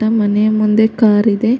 ನಮ್ ಮನೆ ಮುಂದೆ ಕಾರಿದೆ --